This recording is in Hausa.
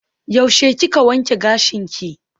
Yaushe kika wanke gashinki?